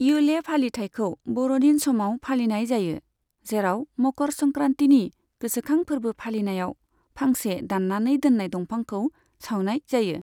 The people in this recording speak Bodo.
इयुले फालिथायखौ बर'दिन समाव फालिनाय जायो, जेराव मकर संक्रान्तिनि गोसोखां फोर्बो फालिनायाव फांसे दाननानै दोननाय दंफांखौ सावनाय जायो।